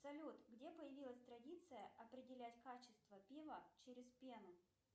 салют где появилась традиция определять качество пива через пену